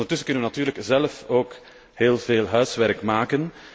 Ondertussen kunnen we natuurlijk zelf ook heel veel huiswerk maken.